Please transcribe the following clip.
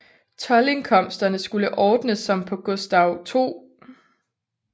Toldindkomsterne skulle ordnes som på Gustaf 2